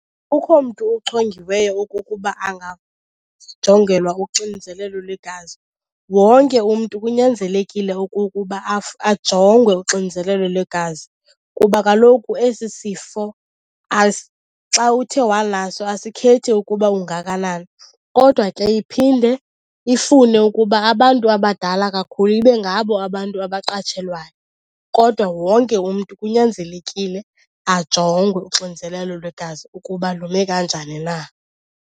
Akukho mntu uchongiweyo okukuba angajongelwa uxinzelelo lwegazi. Wonke umntu kunyanzelekile okukuba ajongwe uxinzelelo lwegazi kuba kaloku esi sifo xa uthe wanaso asikhethi ukuba ungakanani. Kodwa ke iphinde ifune ukuba abantu abadala kakhulu ibe ngabo abantu abaqatshelwayo, kodwa wonke umntu kunyanzelekile ajongwe uxinzelelo lwegazi ukuba lume kanjani na.